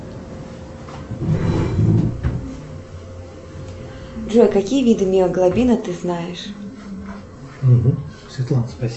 джой какие виды миоглобина ты знаешь